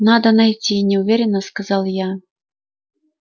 надо найти неуверенно сказал я